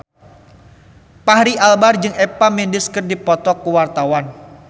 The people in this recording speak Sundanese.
Fachri Albar jeung Eva Mendes keur dipoto ku wartawan